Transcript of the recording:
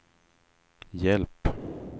hjälp